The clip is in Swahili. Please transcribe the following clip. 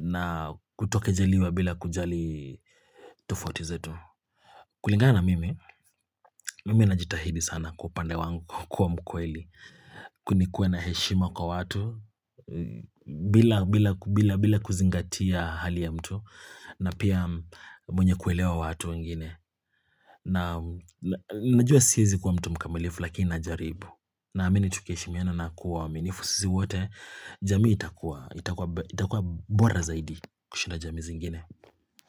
na kutokejeliwa bila kujali tufoti zetu kulingana na mimi, mimi najitahidi sana kwa upande wangu kuwa mkweli nikuwe na heshima kwa watu bila kuzingatia hali ya mtu na pia mwenye kuelewa watu wengine Najua siwezi kuwa mtu mkamilifu lakini najaribu Naamini tukiheshimiana na kuwa waaminifu sisi wote jamii itakuwa itakuwa bora zaidi kushinda jamii zingine.